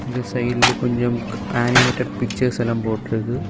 இங்க சைடுல கொன்ஜோம் அனிமேட்டட் பிக்சர்ஸ் எல்லாம் போட்டு இருக்கு.